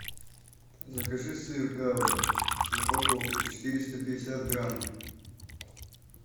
закажи сыр гауда в упаковке четыреста пятьдесят грамм